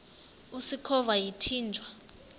usikhova yathinjw a